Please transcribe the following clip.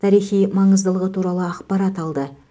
тарихи маңыздылығы туралы ақпарат алды